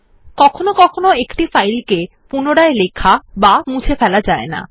কখনও কখনও একটি ফাইল রাইট প্রটেক্টেড থাকে